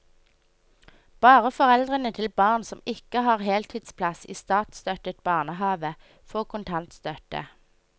Bare foreldre til barn som ikke har heltidsplass i statsstøttet barnehave, får kontantstøtte.